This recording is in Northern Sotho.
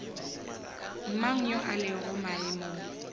mang yo a lego maemong